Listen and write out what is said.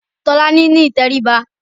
Tolani ní ìtẹríba